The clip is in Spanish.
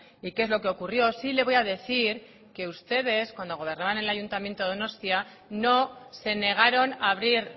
y qué es lo que ocurrió sí le voy a decir que ustedes cuando gobernaban en el ayuntamiento de donostia no se negaron a abrir